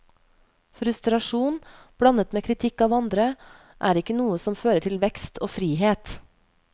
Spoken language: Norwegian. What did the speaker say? Frustrasjon, blandet med kritikk av andre, er ikke noe som fører til vekst og frihet.